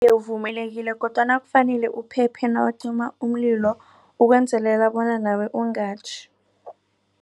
Uvumelekile kodwana kufanele uphephe nawucima umlilo ukwenzelela bona nawe ungatjhi.